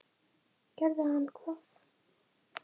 Gerði hann hvað?